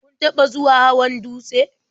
Kun taɓa zuwa hawan dutse?